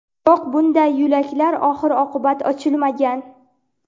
biroq bunday yo‘laklar oxir-oqibat ochilmagan.